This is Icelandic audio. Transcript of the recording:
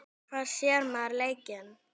Hvar sér maður leikinn?